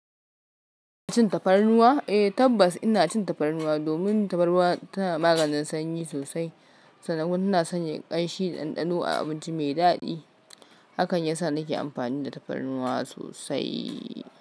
Kina cin tafarnuwa? Eh tabbas ina cin tafarnuwa domin tafarnuwa tana maganin sanyi sosai. Sannan kuma tana sanya ƙanshi da ɗanɗano a abinci mai daɗi. Hakan yasa nake amfani da tafarnuwa sosai.